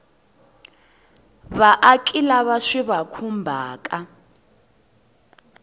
vaaki lava swi va khumbhaka